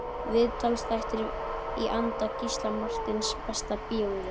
Viðtalsþættir í anda Gísla Marteins Besta bíómyndin?